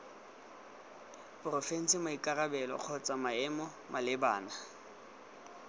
porofense maikarabelo kgotsa maemo malebana